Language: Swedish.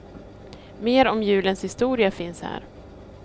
Mer om julens historia finns här.